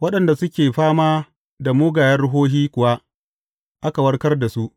Waɗanda suke fama da mugayen ruhohi kuwa aka warkar da su.